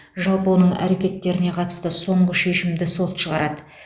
жалпы оның әрекеттеріне қатысты соңғы шешімді сот шығарады